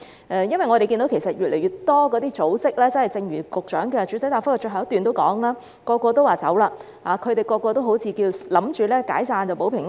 因為我們看到越來越多組織——正如局長的主體答覆最後一段提到——人人都說走，他們人人都好像以為解散組織就可以保平安。